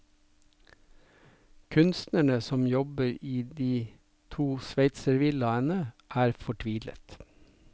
Kunstnerne som jobber i de to sveitservillaene, er fortvilet.